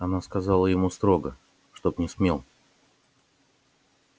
она сказала ему строго чтоб не смел